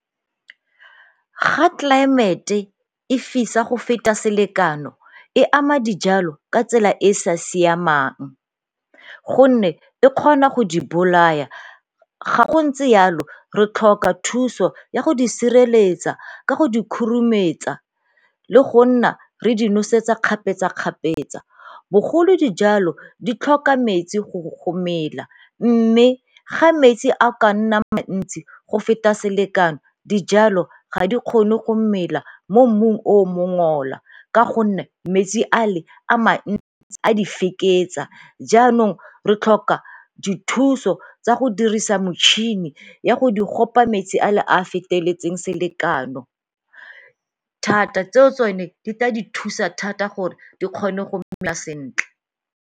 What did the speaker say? Ga tlelaemete e fisa go feta selekano e ama dijalo ka tsela e e sa siamang gonne e kgona go di bolaya. Ga go ntse yalo re tlhoka thuso ya go di sireletsa ka go di khurumetsa le go nna re di nosetsa kgapetsa-kgapetsa, bogolo dijalo di tlhoka metsi go mela mme ga metsi a ka nna mantsi go feta selekano dijalo ga di kgone go mela mo mmung o o mongola ka gonne metsi a le a mantsi a di fekesa jaanong re tlhoka dithuso tsa go dirisa motšhini ya go di gopa metsi a le a a feteletseng selekano thata, tseo tsone di tla di thusa thata gore di kgone go mela sentle.